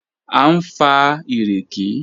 A ń fa ìrèké